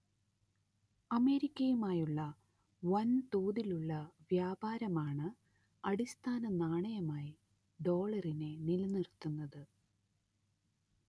അമേരിക്കയുമായുള്ള വൻതോതിലുള്ള വ്യാപാരമാണ് അടിസ്ഥാന നാണയമായി ഡോളറിനെ നിലനിർത്തുന്നത്